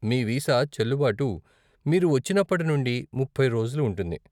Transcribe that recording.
మీ visa చెల్లుబాటు మీరు వచ్చినప్పటి నుండి ముప్పై రోజులు ఉంటుంది.